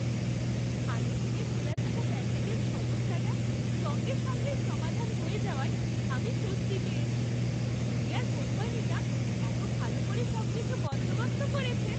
আগে থেকে খোলা থাকা প্যাকেজের সমস্যাটা সঙ্গে সঙ্গেই সমাধান হয়ে যাওয়ায় আমি স্বস্তি পেয়েছি। ক্যুরিয়ার কোম্পানিটা এত ভালো করে সবকিছু বন্দোবস্ত করেছে!